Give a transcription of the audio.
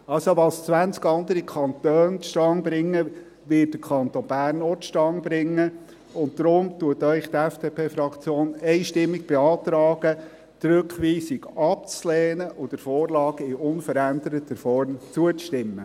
Also: Was 20 andere Kantone zustande bringen, wird der Kanton Bern auch zustande bringen, und darum beantragt Ihnen die FDP-Fraktion einstimmig, die Rückweisung abzulehnen und der Vorlage in unveränderter Form zuzustimmen.